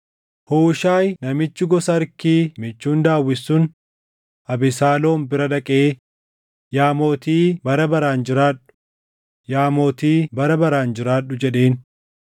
Huushaayi namichi gosa Arkii michuun Daawit sun Abesaaloom bira dhaqee, “Yaa mootii bara baraan jiraadhu! Yaa mootii bara baraan jiraadhu!” jedheen.